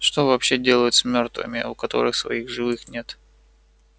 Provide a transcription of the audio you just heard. что вообще делают с мёртвыми у которых своих живых нет